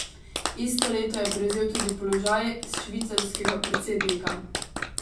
Isto leto je prevzel tudi položaj švicarskega predsednika.